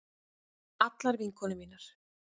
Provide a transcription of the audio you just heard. Allar vinkonur mínar.